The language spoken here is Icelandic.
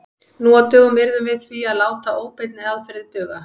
Nú á dögum yrðum við því að láta óbeinni aðferðir duga.